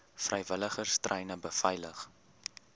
vrywilligers treine beveilig